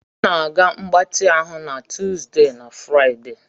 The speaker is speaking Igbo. M na-aga mgbatị ahụ na Tuesday na Friday.